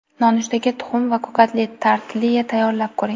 Nonushtaga tuxum va ko‘katli tortilya tayyorlab ko‘ring.